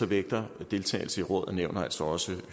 vægter deltagelse i råd og nævn og altså også i